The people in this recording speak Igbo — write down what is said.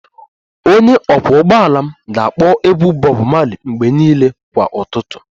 Onye ọkwọ ụgbọala m ga-akpọ egwu Bob marley mgbe niile kwa ụtụtụ